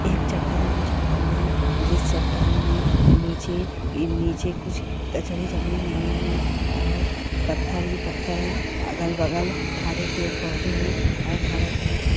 एक चट्टान ही चट्टान है जिस चट्टान में नीचे एक नीचे कुछ कचरा जमे हुए हैं और पत्थर ही पत्थर है अगल-बगल हरे पेड़ पौधे हैं और हरा घास है|